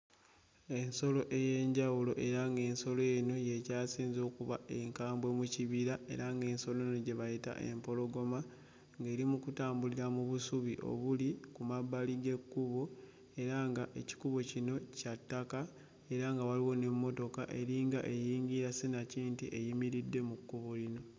Ensolo ey'enjawulo era ng'ensolo eno y'ekyasinze okuba enkambwe mu kibira, era ng'ensolo eno gye bayita empologoma, ng'eri mu kutambulira mu busubi obuli ku mabbali g'ekkubo era nga ekikubo kino kya ttaka, era nga wa waliwo n'emmotoka eringa eyingira sinakindi eyimiridde mu kkubo lino.